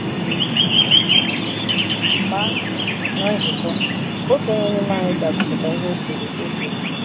Mgbe ahụ, ná nzukọ, otu n’ime anyị ga - agụpụta ihe o kwuru o kwuru.